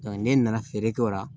ne nana feere kɛ o la